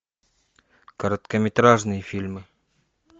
короткометражные фильмы